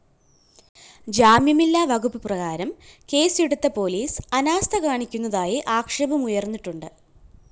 ജാമ്യമില്ലാ വകുപ്പ് പ്രകാരം കേസ് എടുത്ത പോലീസ് അനാസ്ഥകാണിക്കുന്നതായി ആക്ഷേപമുയര്‍ന്നിട്ടുണ്ട്